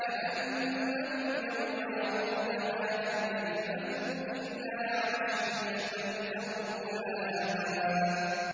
كَأَنَّهُمْ يَوْمَ يَرَوْنَهَا لَمْ يَلْبَثُوا إِلَّا عَشِيَّةً أَوْ ضُحَاهَا